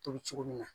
Tobi cogo min na